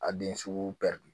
A den sugu bɛɛ dun